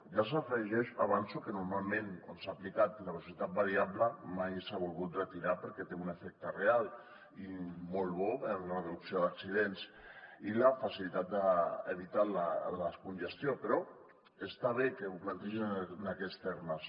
ja s’afegeix avanço que normalment on s’ha aplicat la velocitat variable mai s’ha volgut retirar perquè té un efecte real i molt bo en la reducció d’accidents i la facilitat d’evitar la congestió però està bé que ho plantegin en aquests termes